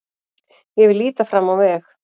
Ég vil líta fram á veg.